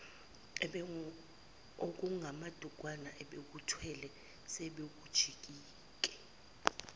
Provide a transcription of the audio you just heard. okungamadukwana abebekuthwele sebekujike